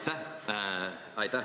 Aitäh!